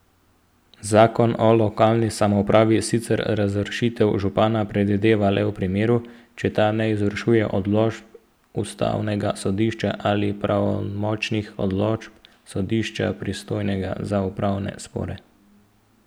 Zakon o lokalni samoupravi sicer razrešitev župana predvideva le v primeru, če ta ne izvršuje odločb ustavnega sodišča ali pravnomočnih odločb sodišča, pristojnega za upravne spore.